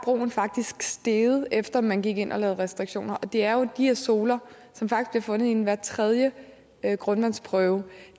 faktisk steget efter man gik ind og lavede restriktioner det er jo de her zoler som faktisk bliver fundet i hver tredje grundvandsprøve